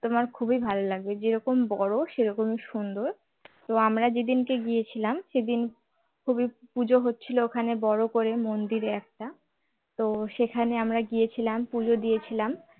তোমার খুবই ভালো লাগবে যেরকম বড় সেরকম সুন্দর তো আমরা যেদিন গিয়েছিলাম সেদিন খুবই পুজো হচ্ছিল ওখানে বড় করে মন্দিরে একটা তো সেখানে আমরা গিয়েছিলাম পুজো দিয়েছিলাম